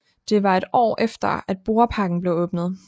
Det var et år efter at Borreparken blev åbnet